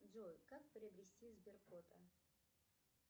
джой как приобрести сберкота